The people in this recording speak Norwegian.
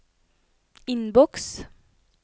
innboks